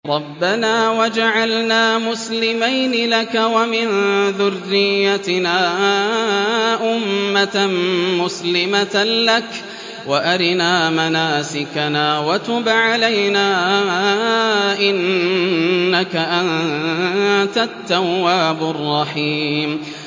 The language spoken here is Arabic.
رَبَّنَا وَاجْعَلْنَا مُسْلِمَيْنِ لَكَ وَمِن ذُرِّيَّتِنَا أُمَّةً مُّسْلِمَةً لَّكَ وَأَرِنَا مَنَاسِكَنَا وَتُبْ عَلَيْنَا ۖ إِنَّكَ أَنتَ التَّوَّابُ الرَّحِيمُ